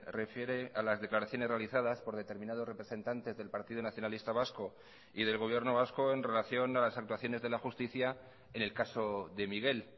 refiere a las declaraciones realizadas por determinados representantes del partido nacionalista vasco y del gobierno vasco en relación a las actuaciones de la justicia en el caso de miguel